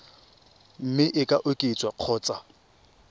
mme e ka oketswa kgotsa